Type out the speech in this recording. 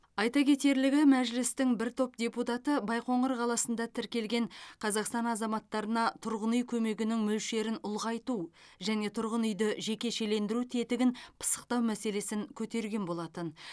айта кетерлігі мәжілістің бір топ депутаты байқоңыр қаласында тіркелген қазақстан азаматтарына тұрғын үй көмегінің мөлшерін ұлғайту және тұрғын үйді жекешелендіру тетігін пысықтау мәселесін көтерген болатын